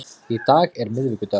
Í dag er miðvikudagur.